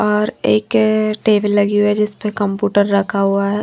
और एक टेबल लगी हुई है जिस पर कंप्यूटर रखा हुआ है।